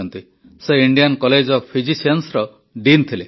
ସେ Indian college of ଫିଜିସିଆନ୍ସର dean ଥିଲେ